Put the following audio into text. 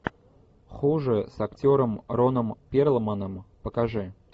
хуже с актером роном перлманом покажи